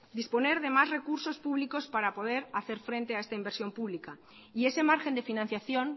disponer de más recursos públicos para poder hacer frente a esta inversión pública y ese margen de financiación